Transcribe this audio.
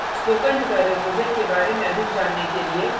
spoken tutorial project के बारे में अधिक जानने के लिए